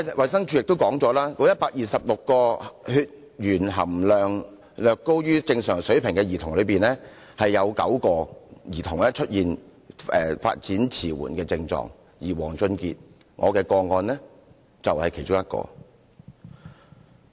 衞生署也表示，該126名血鉛含量略高於正常水平的兒童之中，有9名兒童出現發展遲緩的症狀，而我的個案當事人王俊傑便是其中一個。